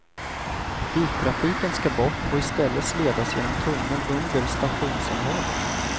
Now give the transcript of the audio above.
Biltrafiken skall bort och i stället ledas genom tunnel under stationsområdet.